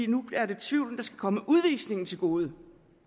nu er det tvivlen der skal komme udvisningen til gode